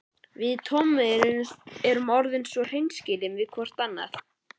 Við Tommi erum orðin svo hreinskilin hvort við annað.